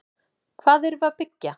Hvað erum við að byggja?